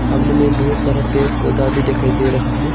सामने में बहुत सारा पेड़ पौधा भी दिखाई दे रहा है।